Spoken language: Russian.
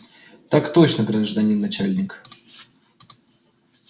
так точно гражданин начальник